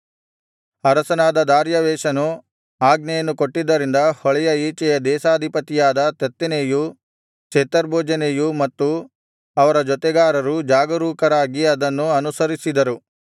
ಅರಸನಾದ ದಾರ್ಯಾವೆಷನು ಆಜ್ಞೆಯನ್ನು ಕೊಟ್ಟಿದ್ದರಿಂದ ಹೊಳೆಯ ಈಚೆಯ ದೇಶಾಧಿಪತಿಯಾದ ತತ್ತೆನೈಯೂ ಶೆತರ್ಬೋಜೆನೈಯೂ ಮತ್ತು ಅವರ ಜೊತೆಗಾರರೂ ಜಾಗರೂಕರಾಗಿ ಅದನ್ನು ಅನುಸರಿಸಿದರು